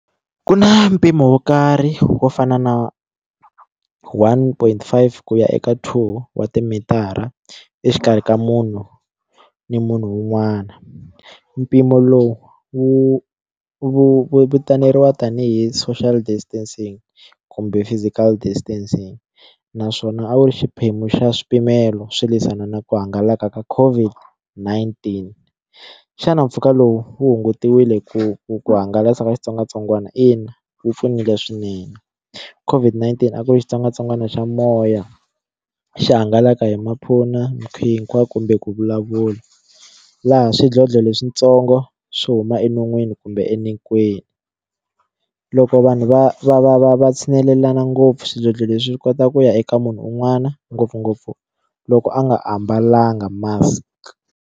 Ku na mpimo wo karhi wo fana na one point five ku ya eka two wa timitara exikarhi ka munhu ni munhu un'wana mpimo lowu wu wu wu vitaneriwa tanihi social distancing kumbe physical distancing naswona a wu ri xiphemu xa swipimelo swo lwisana na ku hangalaka ka COVID-19 xana mpfhuka lowu wu hungutiwile ku hangalaka ka xitsongwatsongwana ina wu pfunile swinene COVID-19 ku ri xitsongwatsongwana xa moya xi hangalaka hi hinkwako kumbe ku vulavula laha swidlodlo leswintsongo swo huma enon'wini kumbe loko vanhu va va va va va tshinelelana ngopfu swidlodlo leswi kotaka ku ya eka munhu un'wana ngopfungopfu loko a nga ambalanga mask.